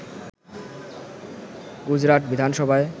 গুজরাট বিধানসভায়